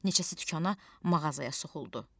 Neçəsi dükana, mağazaya soxuldu.